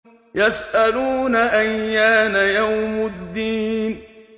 يَسْأَلُونَ أَيَّانَ يَوْمُ الدِّينِ